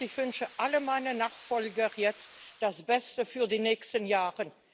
Ich wünsche allen meinen Nachfolgern jetzt das Beste für die nächsten Jahre.